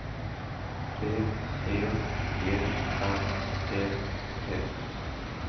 B E G R E P